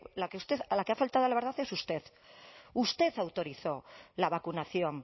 la que ha faltado a la verdad es usted usted autorizó la vacunación